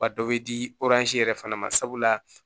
Wa dɔ bɛ di yɛrɛ fana ma sabula